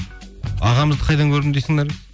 ағамызды қайдан көрдім дейсің наргиз